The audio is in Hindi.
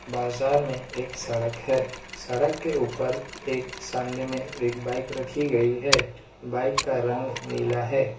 बाजार में एक सड़क है सड़क के ऊपर एक सामने में एक बाइक रखी गई है बाइक का रंग नीला है।